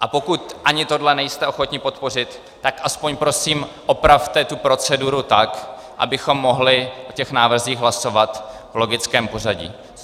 A pokud ani tohle nejste ochotni podpořit, tak aspoň prosím opravte tu proceduru tak, abychom mohli o těch návrzích hlasovat v logickém pořadí.